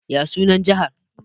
Ya sunan Jihar?